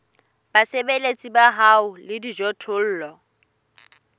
basebeletsi ba hao le dijothollo